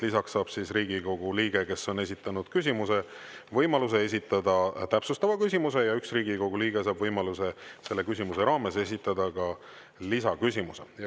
Lisaks saab Riigikogu liige, kes on esitanud küsimuse, võimaluse esitada täpsustava küsimuse ja üks Riigikogu liige saab võimaluse selle küsimuse raames esitada ka lisaküsimuse.